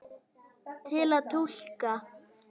Til að túlka